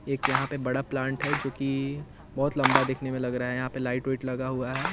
एक यहाँ पे बड़ा प्लांट है जोकि बहोत लम्बा दिखने में लग रहा है यहाँ पे लाईट ओईट लगा हुआ है।